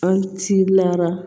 An ci la